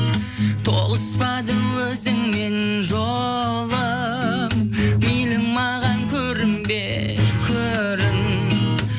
тоғыспады өзіңмен жолым мейлі маған көрінбе көрін